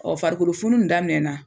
farikolofunun nin daminɛna